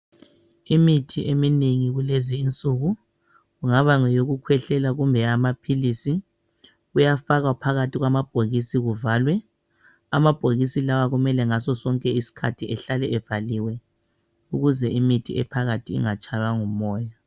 Imithi eminengi kulezinsuku kungaba ngeyokukhwehlela kumbe eyamaphilisi kuyafakwa phakathi kwamabhokisi kuvalwe. Amabhokisi lawa kumele ngasosonke isikhathi ehlale evaliwe ukuze imithi ephakathi ingatshaywa ngumoya